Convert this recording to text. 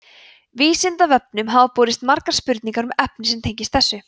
vísindavefnum hafa borist margar spurningar um efni sem tengist þessu